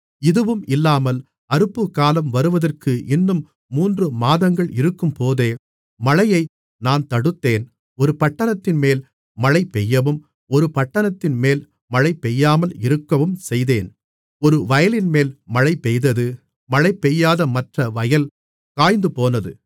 இதுவும் இல்லாமல் அறுப்புக்காலம் வருவதற்கு இன்னும் மூன்றுமாதங்கள் இருக்கும்போதே மழையை நான் தடுத்தேன் ஒரு பட்டணத்தின்மேல் மழைபெய்யவும் ஒரு பட்டணத்தின்மேல் மழைபெய்யாமல் இருக்கவும் செய்தேன் ஒரு வயலின்மேல் மழைபெய்தது மழைபெய்யாத மற்ற வயல் காய்ந்துபோனது